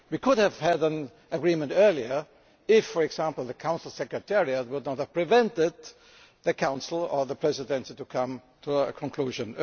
We could have had an agreement earlier if, for example, the Council secretariat had not prevented the Council or the Presidency from coming to a conclusion.